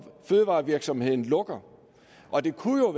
fødevarevirksomheden lukkede og det kunne